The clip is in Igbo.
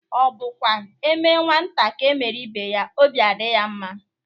Ọ bụkwa eme nwata ka emere ibe ya obi adị ya mma?